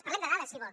parlem de dades si vol